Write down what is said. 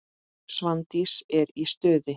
Svandís er í stuði.